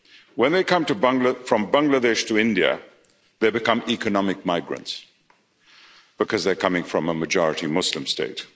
When they come from Bangladesh to India they become economic migrants because they're coming from a majority Muslim state.